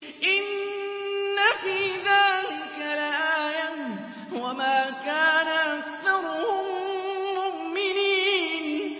إِنَّ فِي ذَٰلِكَ لَآيَةً ۖ وَمَا كَانَ أَكْثَرُهُم مُّؤْمِنِينَ